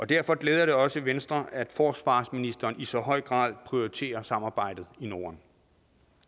derfor glæder det også venstre at forsvarsministeren i så høj grad prioriterer samarbejdet i norden